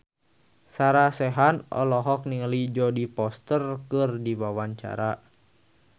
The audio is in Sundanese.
Sarah Sechan olohok ningali Jodie Foster keur diwawancara